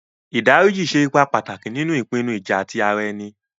Ìdá ríjí ṣè èípà pátákì nínu ìpìnnú ìjà̀ tí ara ènì.